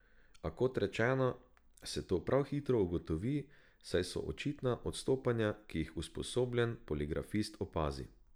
A kot rečeno, se to prav hitro ugotovi, saj so očitna odstopanja, ki jih usposobljen poligrafist opazi.